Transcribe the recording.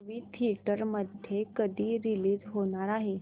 movie theatre मध्ये कधी release होणार आहे